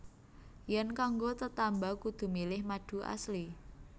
Yèn kanggo tetamba kudu milih madu Asli